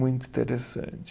Muito interessante.